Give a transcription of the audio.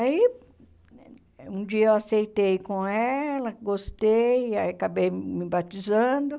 Aí, um dia eu aceitei com ela, gostei, aí acabei me batizando.